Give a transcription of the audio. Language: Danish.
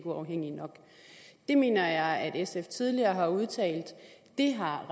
uafhængig nok det mener jeg at sf tidligere har udtalt det har